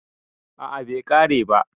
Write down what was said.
a a bai kare ba